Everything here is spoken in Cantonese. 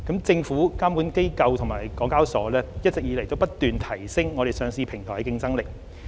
政府、監管機構及香港交易及結算所有限公司一直不斷提升我們上市平台的競爭力。